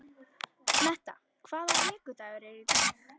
Metta, hvaða vikudagur er í dag?